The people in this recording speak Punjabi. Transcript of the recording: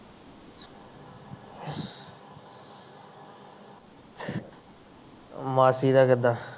ਮਾਸੀ ਦਾ ਕਿੱਦਾ